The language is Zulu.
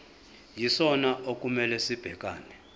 yisona okumele sibhekane